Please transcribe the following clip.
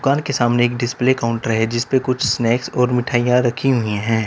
दुकान के सामने एक डिस्प्ले काउंटर है जिस पर कुछ स्नैक्स और मिठाइयां रखी हुई है।